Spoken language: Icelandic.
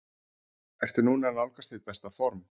Ertu núna að nálgast þitt besta form?